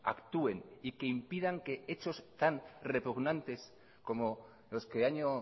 actúen y que impidan que hechos tan repugnantes como los que año